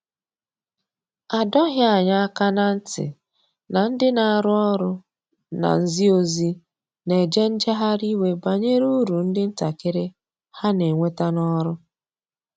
A dọghi anya aka na nti na ndi na arụ ọrụ na nzi ozi na eje njehari iwe banyere ụrụ ndi ntakiri ha n'enweta n'ọrụ.